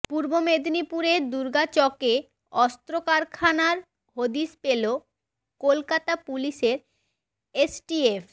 পূর্ব মেদিনীপুরের দুর্গাচকে অস্ত্র কারখানার হদিশ পেল কলকাতা পুলিশের এসটিএফ